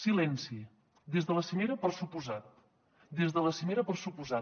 silenci des de la cimera per descomptat des de la cimera per descomptat